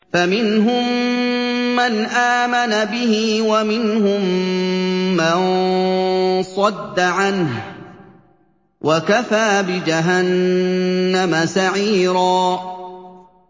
فَمِنْهُم مَّنْ آمَنَ بِهِ وَمِنْهُم مَّن صَدَّ عَنْهُ ۚ وَكَفَىٰ بِجَهَنَّمَ سَعِيرًا